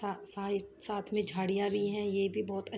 स सई साथ में झाड़िया भी है ये भी बहोत --